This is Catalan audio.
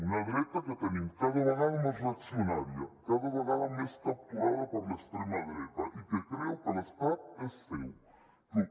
una dreta que tenim cada vegada més reaccionària cada vegada més capturada per l’extrema dreta i que creu que l’estat és seu